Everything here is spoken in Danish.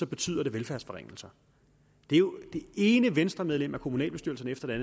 betyder det velfærdsforringelser det ene venstremedlem af kommunalbestyrelserne efter det